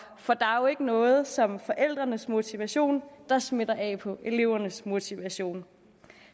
for der er jo ikke noget som forældrenes motivation der smitter af på elevernes motivation